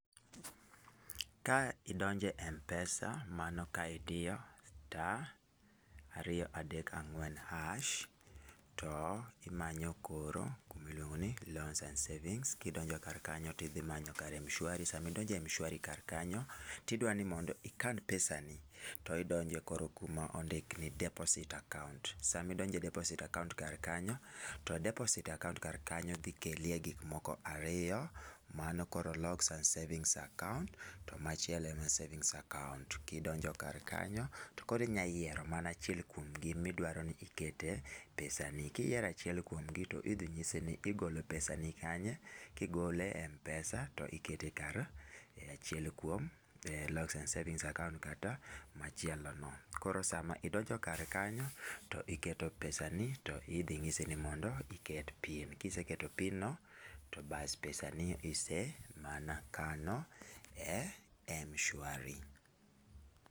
Ka idonjo e Mpesa, mano ka idiyo star- ariyo -adek-ang'wen- hash, to imanyo koro kuma iluongo ni loans and savings. Kidonjo kar kanyo tidhi manyo kar Mshwari, sama idonjo e Mshwari kar kanyo tidwa ni mondo ikan pesa ni, to idonjo koro kuma ondik ni deposit account. Sama idonjo e deposit account kar kanyo, to deposit account kar kanyo dhi keli e gik moko ariyo, mano koro locks and savings account to machiel e ma savings account. Kidonjo e kar kanyo, to koro inya yiero mana achiel kuom gi midwaro ni ikete pesa ni. Kiyiero achiel kuom gi to idhi nyisi ni igolo pesa ni kanye. Kigole e Mpesa to ikete kar e achiel kuom e locks and savings account kata machielo no. Koro sama idonjo kar kanyo, to iketo pesa ni, to idhi nyisi ni mondo iket pin. Kiseketo pin no to bas pesa ni isemana kano e Mshwari.